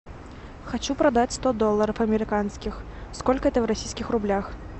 хочу продать сто долларов американских сколько это в российских рублях